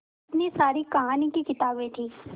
इतनी सारी कहानी की किताबें थीं